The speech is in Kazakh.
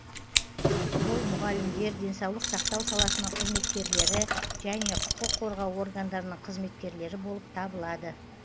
ол мұғалімдер денсаулық сақтау саласының қызметкерлері және құқық қорғау органдарының қызметкерлері болып табылады